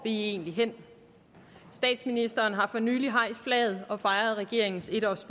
egentlig hen statsministeren har for nylig hejst flaget og fejret regeringens en års